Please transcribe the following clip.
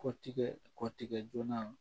Kɔtigɛ kɔtigɛ joona